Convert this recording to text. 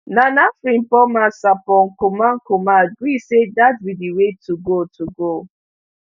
nana frimpomaa sarpong kumankumah gree say dat be di way to go to go